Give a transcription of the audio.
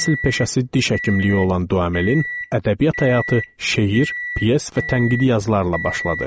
Əsl peşəsi diş həkimliyi olan Duamelin ədəbiyyat həyatı şeir, pyes və tənqidi yazılarla başladı.